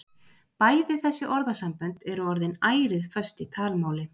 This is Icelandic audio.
Bæði þessi orðasambönd eru orðin ærið föst í talmáli.